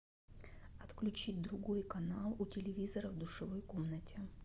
отключить другой канал у телевизора в душевой комнате